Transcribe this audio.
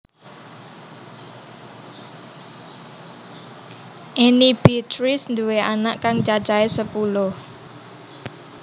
Enny Beatrice nduwé anak kang cacahé sepuluh